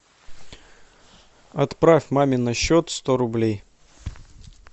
отправь маме на счет сто рублей